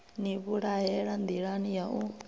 ni vhulahela nḓilani ya u